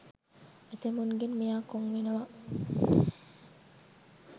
ඇතැමුන්ගෙන් මෙයා කොන් වෙනව.